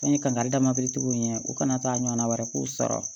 An ye kankarida tigiw ye u kana taa ɲɔgɔnna wɛrɛ k'u sɔrɔ